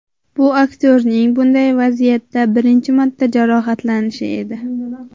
Bu aktyorning bunday vaziyatda birinchi marta jarohatlanishi edi.